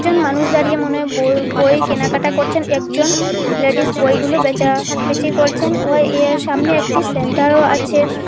মানুষ দাঁড়িয়ে মনে হয় ব-বই কেনাকাটা করছেন একজন লেডিস বইগুলো বেচাবেচি করছেন ও এর সামনে একটি সেন্টারও আছে।